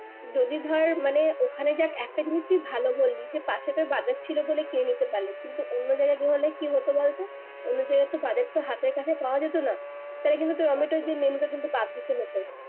যদি ধর মানে ওখানে দেখ একটা জিনিস তুই ভালো করলি যে পাশে তো বাজার ছিলো বলে কিনে নিতে পারলি কিন্তু অন্য জায়গায় হলে কি হতো বলতো অন্য জায়গায় তো বাজার তো হাতের কাছে পাওয়া যেতো না তাহলে কিন্তু তোর menu কিন্তু বাদ দিতে হতো